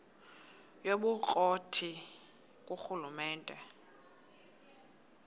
yobukro ti ngurhulumente